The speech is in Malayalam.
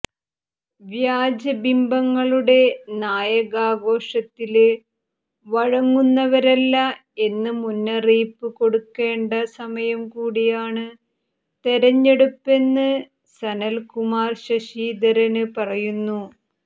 വ്യാജബിംബങ്ങളുടെ നായകാഘോഷത്തില് വഴങ്ങുന്നവരല്ല എന്ന് മുന്നറിയിപ്പ് കൊടുക്കേണ്ട സമയം കൂടിയാണ് തെരെഞ്ഞെടുപ്പെന്ന് സനല്കുമാര് ശശിധരന് പറയുന്നു